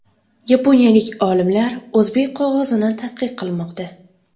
Yaponiyalik olimlar o‘zbek qog‘ozini tadqiq qilmoqda.